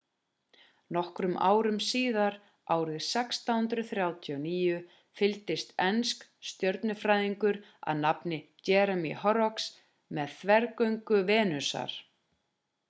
nokkrum árum síðar árið 1639 fylgdist enskur stjörnufræðingur að nafni jeremiah horrocks með þvergöngu venusar